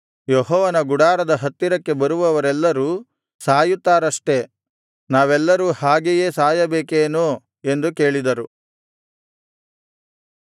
ಯೆಹೋವನ ಗುಡಾರದ ಹತ್ತಿರಕ್ಕೆ ಬರುವವರೆಲ್ಲರೂ ಸಾಯುತ್ತಾರಷ್ಟೆ ನಾವೆಲ್ಲರೂ ಹಾಗೆಯೇ ಸಾಯಬೇಕೇನು ಎಂದು ಕೇಳಿದರು